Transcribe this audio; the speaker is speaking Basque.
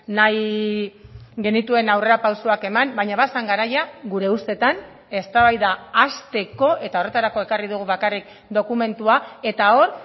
nahi genituen aurrerapausoak eman baina bazen garaia gure ustetan eztabaida hasteko eta horretarako ekarri dugu bakarrik dokumentua eta hor